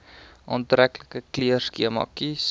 aantreklike kleurskema kies